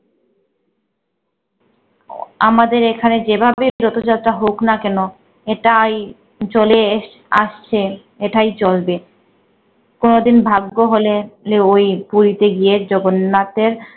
আমাদের এখানে যেভাবে রথযাত্রা হোক না কেন এটাই চলে এস~ আসছে এটাই চলবে। কোনদিন ভাগ্য হলে লে ওই পুরিতে গিয়ে জগন্নাথের